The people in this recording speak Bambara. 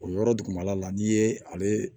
O yɔrɔ dugumala la n'i ye ale